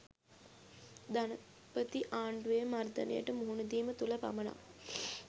ධනපති ආණ්ඩුවේ මර්දනයට මුහුණ දීම තුළ පමණක්